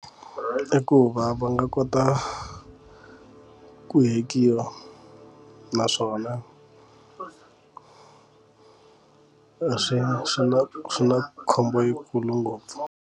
I ku va va nga kota ku hekiwa naswona swi swi na swi na khombo yi kulu ngopfu.